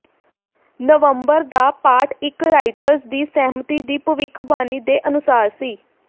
ਨਵੰਬਰ ਦਾ ਪਾਠ ਇੱਕ ਰਾਇਟਰਜ਼ ਦੀ ਸਹਿਮਤੀ ਦੀ ਭਵਿੱਖਬਾਣੀ ਦੇ ਅਨੁਸਾਰ ਸੀ